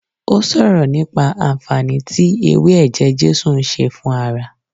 O sọ̀rọ̀ nípa anfaani tí ewé ẹ̀jẹ̀ Jésù ń ṣe fún ara